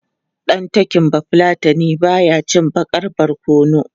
Ɗan talking Bafulatani ba ya cin baƙar barkono.